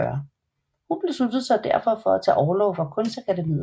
Hun besluttede sig derfor at tage orlov fra Kunstakademiet